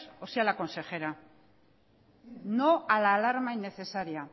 o sea la consejera no a la alarma innecesaria